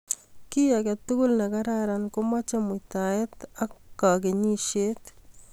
Kit age tugul ne kararan ko machei muitaet ak kakenyisiet